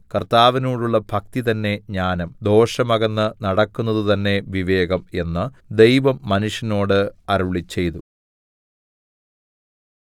കർത്താവിനോടുള്ള ഭക്തി തന്നെ ജ്ഞാനം ദോഷം അകന്ന് നടക്കുന്നത് തന്നെ വിവേകം എന്ന് ദൈവം മനുഷ്യനോട് അരുളിച്ചെയ്തു